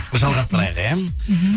жалғастырайық иә мхм